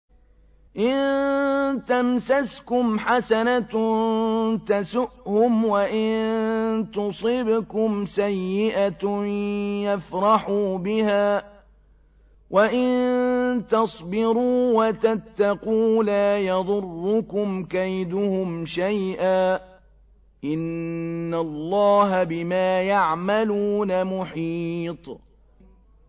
إِن تَمْسَسْكُمْ حَسَنَةٌ تَسُؤْهُمْ وَإِن تُصِبْكُمْ سَيِّئَةٌ يَفْرَحُوا بِهَا ۖ وَإِن تَصْبِرُوا وَتَتَّقُوا لَا يَضُرُّكُمْ كَيْدُهُمْ شَيْئًا ۗ إِنَّ اللَّهَ بِمَا يَعْمَلُونَ مُحِيطٌ